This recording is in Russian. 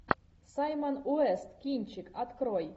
саймон уэст кинчик открой